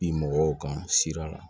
Bi mɔgɔw kan sira la